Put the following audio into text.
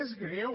és greu